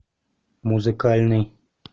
музыкальный